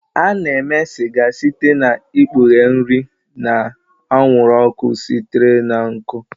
A na-eme sịga site n'ikpughe nri na anwụrụ ọkụ sitere na nkụ.